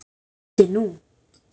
Settu nú